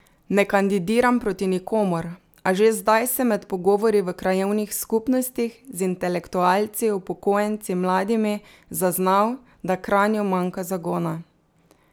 Ne kandidiram proti nikomur, a že zdaj sem med pogovori v krajevnih skupnostih, z intelektualci, upokojenci, mladimi zaznal, da Kranju manjka zagona.